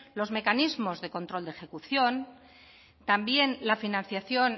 los mecanismos de control de ejecución también la financiación